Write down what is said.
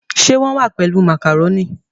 Ṣe wón wá pèlú macaroni?